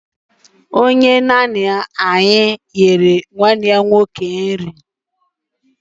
Onye nanny ọhụrụ ahụ zuru nwanne m nwoke nri